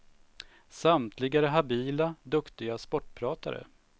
Samtliga är habila, duktiga sportpratare.